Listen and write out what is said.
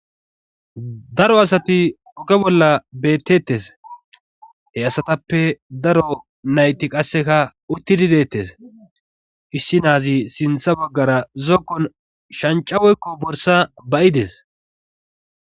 Daro asati hoge bolla bettettes he asatappe daro nayti qasseka uttidi deettes issi naazi sintha baggara zokkon shancawoykko borsa bayides